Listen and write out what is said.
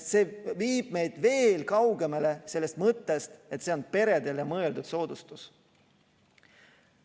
See viib meid veel kaugemale sellest mõttest, et see on peredele mõeldud soodustus.